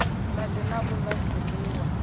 madi na u la zwiliwa